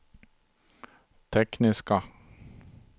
tekniska